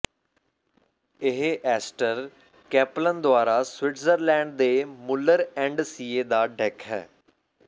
ਇਹ Esther Kaplan ਦੁਆਰਾ Switzerland ਦੇ ਮੁੱਲਰ ਐਂਡ ਸਿਏ ਦਾ ਡੇਕ ਹੈ